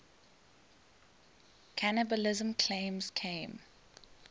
cannibalism claims came